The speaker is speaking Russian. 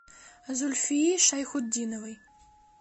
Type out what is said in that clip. зульфии шайхутдиновой